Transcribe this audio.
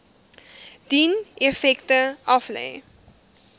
dien effekte aflê